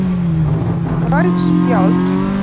Rauð spjöld